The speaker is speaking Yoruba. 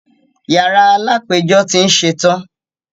Yàrá alápẹjọ́ tí ń ṣẹtan.